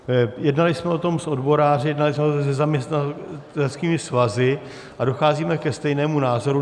Jednali jsme o tom s odboráři, jednali jsme o tom se zaměstnaneckými svazy a docházíme ke stejnému názoru.